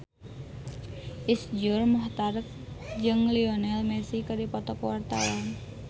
Iszur Muchtar jeung Lionel Messi keur dipoto ku wartawan